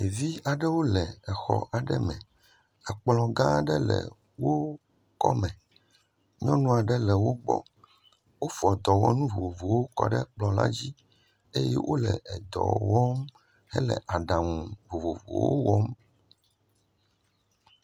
Ɖevi aɖewo le exɔ aɖe me. Ekplɔ gã aɖe le wo kɔme. Nyɔnu aɖe le wo gbɔ. Wofɔ dɔwɔnu vovovowo kɔ ɖe kplɔ la dzi eye wo le edɔ wɔm hele aɖaŋu vovovowo wɔm.